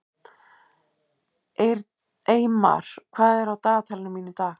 Eymar, hvað er á dagatalinu mínu í dag?